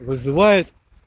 вызывает